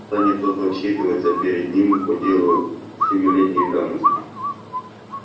станет тот отчитываться перед ним по делу семилетней давности